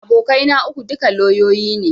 Abokai na uku, duka lauyoyi ne